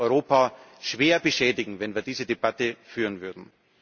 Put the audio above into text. Wir würden Europa schwer beschädigen, wenn wir diese Debatte führen würden.